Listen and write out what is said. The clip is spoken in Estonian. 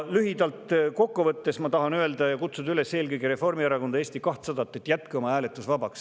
Lühidalt kokku võttes ma tahan kutsuda üles eelkõige Reformierakonda ja Eesti 200 jätma oma hääletus vabaks.